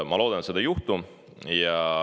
Ma loodan, et seda ei juhtu.